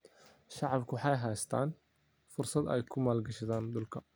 Shacabku waxay haystaan ??fursad ay ku maalgashadaan dhulka.